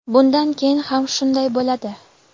Bundan keyin ham shunday bo‘ladi.